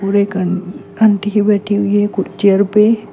Aunty बैठी हुई है खुद चेयर पे।